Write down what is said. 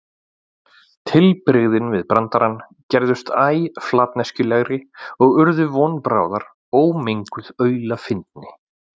Tilbrigðin við brandarann gerðust æ flatneskjulegri og urðu von bráðar ómenguð aulafyndni.